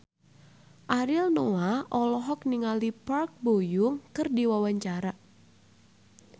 Ariel Noah olohok ningali Park Bo Yung keur diwawancara